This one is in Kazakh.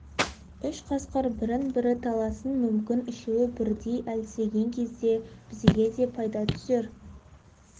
үш қасқыр бірін бірі таласын мүмкін үшеуі бірдей әлсіреген кезде бізге де пайда түсер